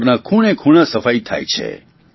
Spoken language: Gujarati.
ઘરના ખૂણેખૂણાની સફાઇ થાય છે